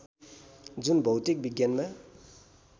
जुन भौतिक विज्ञानमा